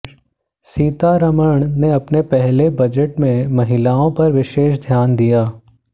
सीतारमण ने अपने पहले बजट में महिलाओं पर विशेष ध्यान दिया